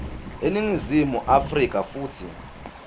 eningizimu afrika futsi